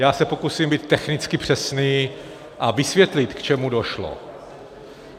Já se pokusím být technicky přesný a vysvětlit, k čemu došlo.